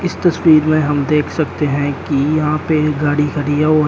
इस तस्वीर में हम देख सकते हैं कि यहां पे एक गाड़ी खड़ी है और--